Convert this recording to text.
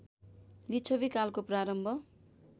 लिच्छवि कालको प्रारम्भ